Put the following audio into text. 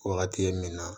Wagati ye min na